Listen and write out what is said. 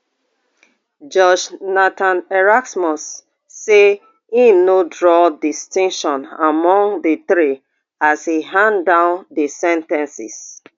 judge nathan erasmus say im no draw distinction among di three as e hand down di sen ten ces